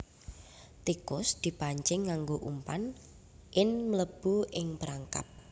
Tikus dipancing nganggo umpan ln mlebu ing perangkap